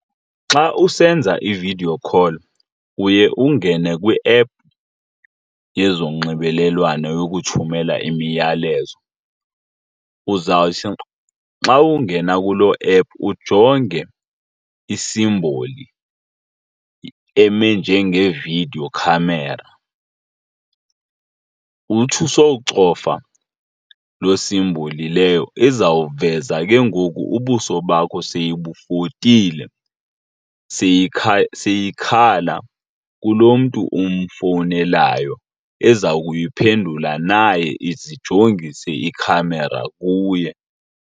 Xa usenza i-video call uye ungene kwiephu yezonxibelelwano yokuthumela imiyalezo. Uzawuthi xa ungena kulo ephu ujonge isimboli eme njenge-video camera. Uthi usowucofa loo simboli leyo izawuveza ke ngoku ubuso bakho seyibufotile, seyikhala kulo mntu umfowunelayo, eza kuyiphendula naye ize ijongise ikhamera kuye.